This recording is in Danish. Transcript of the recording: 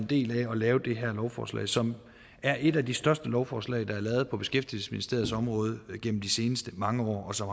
del i at lave det her lovforslag som er et af de største lovforslag der er lavet på beskæftigelsesministeriets område igennem de seneste mange år og som